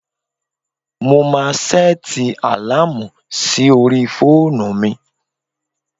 Mo máa sẹ́ẹ̀tì àláàmù sí orí fóònù mi.